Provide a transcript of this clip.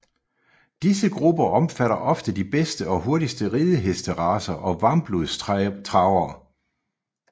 Disse grupper omfatter ofte de bedste og hurtigste ridehestracer og varmblodstravere